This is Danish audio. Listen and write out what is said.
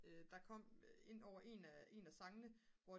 der kom ind over en af sangene